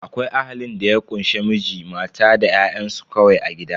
Akwai Ahalin da ya kunshe Miji, mata da ƴa'ƴansu kawai a gida.